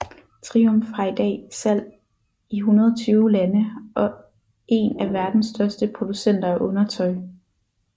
Triump har i dag salg i 120 lande og en af verdens største producenter af undertøj